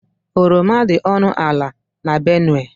Oroma dị ọnụ ala n' Benue.